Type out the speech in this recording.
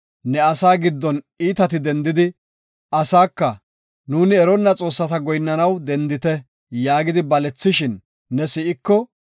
ne asaa giddon iitati dendidi, asaako, “Nuuni eronna xoossata goyinnanaw dendite” yaagidi balethishin ne si7iko,